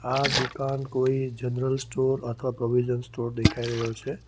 આ દુકાન કોઈ જનરલ સ્ટોર અથવા પ્રોવિઝન સ્ટોર દેખાઈ રહ્યો છે.